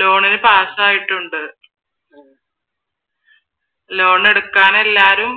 ലോണിന് പാസ്സ് ആയിട്ടുണ്ട് ആഹ് ലോൺ എടുക്കാൻ എല്ലാരും